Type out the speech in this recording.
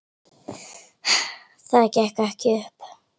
Það gekk ekki upp.